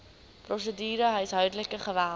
prosedure huishoudelike geweld